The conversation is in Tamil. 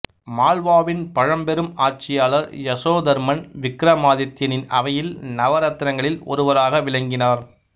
மால்வாவின் பழம்பெரும் ஆட்சியாளர் யசோதர்மன் விக்ரமாதித்தியனின் அவையில் நவரத்தினங்களில் ஒருவராக விளங்கினார்